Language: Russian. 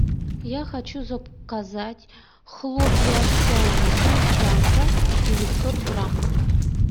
я хочу заказать хлопья овсяные крымчанка девятьсот грамм